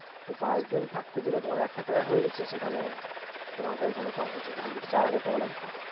তো পাচ দিন থাকতে গেলে তোমার এক হাজার টাকায় হয়ে যাচ্ছে সেখানে তোমাকে চার হাজার টাকা লাগবে